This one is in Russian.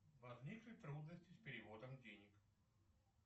возникли трудности с переводом денег